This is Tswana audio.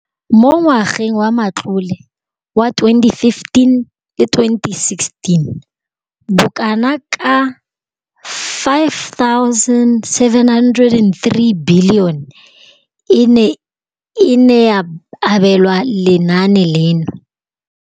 Mo ngwageng wa matlole wa 2015,16, bokanaka R5 703 bilione e ne ya abelwa lenaane leno.